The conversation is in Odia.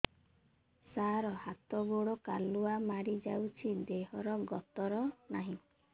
ସାର ହାତ ଗୋଡ଼ କାଲୁଆ ମାରି ଯାଉଛି ଦେହର ଗତର ନାହିଁ